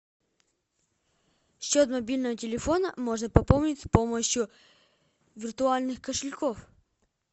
счет мобильного телефона можно пополнить с помощью виртуальных кошельков